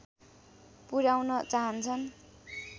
पुर्‍याउन चाहन्छन्